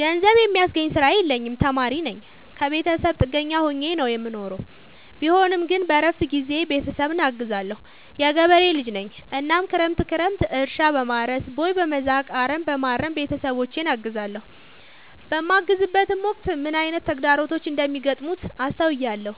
ገንዘብ የሚያስገኝ ስራ የለኝም ተማሪነኝ ከብተሰብ ጥገኛ ሆኜ ነው የምኖረው ቢሆንም ግን በረፍት ጊዜዬ ቤተሰብን አግዛለሁ። የገበሬ ልጅነኝ እናም ክረምት ክረምት እርሻ፣ በማረስ፣ ቦይ፣ በመዛቅ፣ አረምበማረም ቤተሰቦቼን አግዛለሁ። በማግዝበትም ወቅት ምን አይነት ተግዳሮቶች እንደሚገጥሙት አስተውያለሁ።